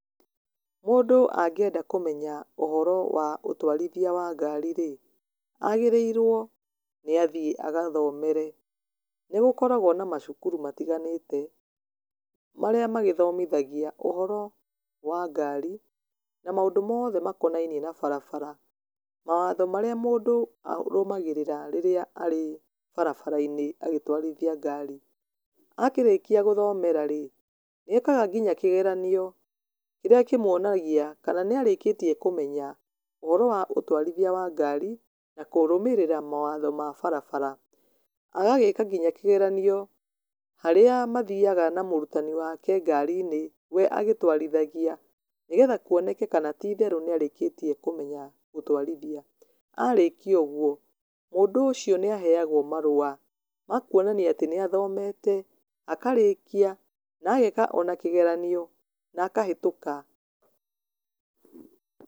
Mũndũ angĩenda kũmenya ũhoro wa ũtwarithia wa ngari rĩ, agĩrĩrwo nĩ athiĩ agathomere, nĩ gũkoragwo na macukuru matiganĩte, marĩa magĩthomithagia ũhoro wa ngari, na maũndũ moothe makonanie na barabara, mawatho marĩa mũndũ arũmagĩrĩrĩra rĩrĩa arĩ barabara -inĩ agĩtwarithia ngari. Akĩrĩkia gũthomera rĩ, nĩ ekaga nginya kĩgeranio, kĩrĩa kĩmuonagia kana nĩ arĩkĩtie kũmenya ũhoro wa ũtwarithia wa ngari na kũrũmĩrĩra mawatho ma barabara, agagĩka nginya kĩgeranio harĩa mathiaga na mũrutani wake ngari-inĩ we agĩtwarithagia, nĩgetha kuoneke kana titheru nĩ arĩkĩtie kũmenya gũtwarithia, arĩkia ũguo, mũndũ ũcio nĩ aheyagwo marua, makuonania atĩ nĩ athomete, akarĩkia, na ageka ona kĩgeranio na akahetũka.